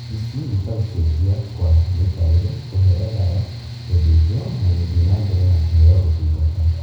ici nĩta gũcenjia kwa mũikarĩre, kũheo dawa, gũthĩnjwo na gũthiĩ na mbere na kũheo ũtungata